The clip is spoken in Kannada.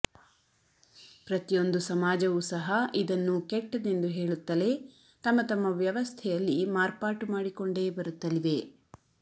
ಪ್ರತಿಯೊಂದು ಸಮಾಜವೂ ಸಹ ಇದನ್ನು ಕೆಟ್ಟದೆಂದು ಹೇಳುತ್ತಲೆ ತಮ್ಮ ತಮ್ಮ ವ್ಯವಸ್ಥೆಯಲ್ಲಿ ಮಾರ್ಪಾಟು ಮಾಡಿಕೊಂಡೆ ಬರುತ್ತಲಿವೆ